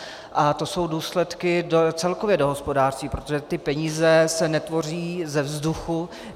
A to jsou důsledky celkově do hospodářství, protože ty peníze se netvoří ze vzduchu.